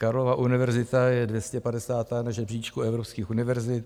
Karlova univerzita je 250. na žebříčku evropských univerzit.